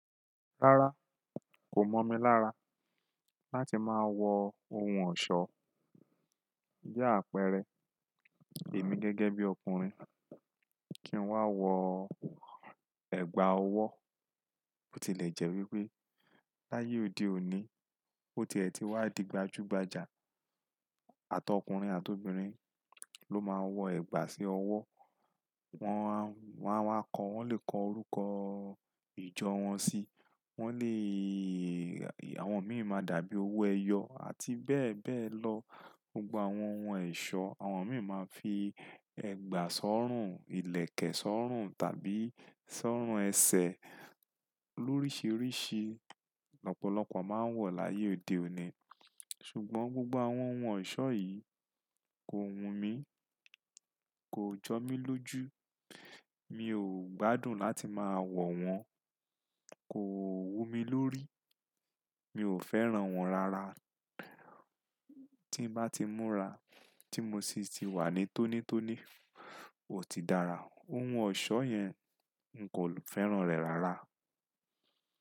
Rárá, kò mọ̀ mí lára láti máa wọ ohun ọ̀ṣọ́. Bi àpẹẹrẹ, èmi gẹ́gẹ́ bí ọkùnrin kí n wá wọ ẹ̀gbà ọwọ́. Ó ti lè jẹ́ wípé láyé òde òní, ó ti ẹ̀ ti wá di gbajúgbajà. Àtọkùnrin àtọbìnrin ló máa ń wọ ẹ̀gbà sí ọwọ́. Wọn á, wọn á wa kọ, wọ́n lè kọ orúkọ ìjọ wọn sí, wọ́n lèèé, àwọn míì máa dàbí owó ẹyọ àti bẹ́ẹ̀ bẹ́ẹ̀ lọ. Gbogbo àwọn ohun ẹ̀ṣọ́, àwọn míì máa ń fi ẹ̀gbà sọ́rùn, ìlẹ̀kẹ̀ sọ́rùn tàbí sọ́rùn ẹsẹ̀ lóríṣiríṣi lọ́pọ̀lọ́pọ̀ máa ń wọ̀ láyé òde òní. Ṣùgbọ́n gbogbo àwọn ohun ẹ̀ṣọ́ yìí kò wùn mí, kò jọ mí lójú, mi ò gbádùn láti máa wọ̀ wọ́n, kò wú mi lórí, mi ò fẹ́ràn wọ́n rárá. Tí n bá ti múra, tí mo sì ti wà ní tónítóní, ò ti dára. Ohun ọ̀ṣọ́ yẹn n kò fẹ́ràn rẹ̀ rárá.